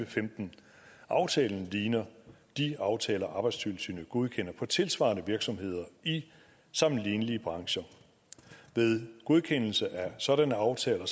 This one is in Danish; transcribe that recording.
femten aftalen ligner de aftaler arbejdstilsynet godkender på tilsvarende virksomheder i sammenlignelige brancher ved godkendelse af sådanne aftaler